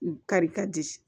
Kari ka di